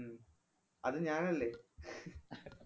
ഉം അത് ഞാനല്ലേ